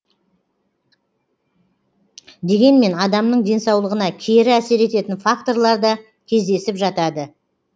дегенмен адамның денсаулығына кері әсер ететін факторлар да кездесіп жатады